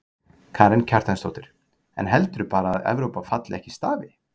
Karen Kjartansdóttir: En heldurðu bara að Evrópa falli ekki í stafi?